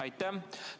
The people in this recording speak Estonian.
Aitäh!